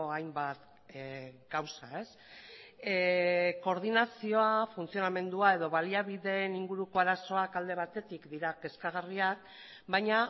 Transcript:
hainbat kausa koordinazioa funtzionamendua edo baliabideen inguruko arazoak alde batetik dira kezkagarriak baina